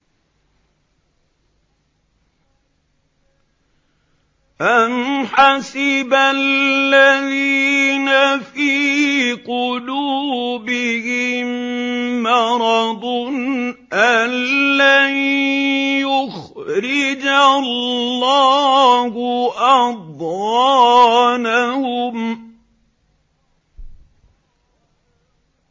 أَمْ حَسِبَ الَّذِينَ فِي قُلُوبِهِم مَّرَضٌ أَن لَّن يُخْرِجَ اللَّهُ أَضْغَانَهُمْ